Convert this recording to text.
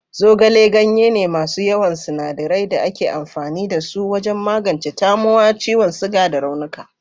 Zogale ganye ne masu yawan sinadirai da ake amfani da su wajen magance tamowa, ciwon suga, da raunuka.